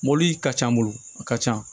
Mɔbili ka ca n bolo a ka ca